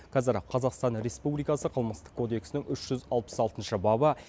қазір қазақстан республикасы қылмыстық кодексінің үш жүз алпыс алтыншы бабы